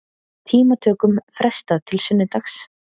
Tímatökum frestað til sunnudags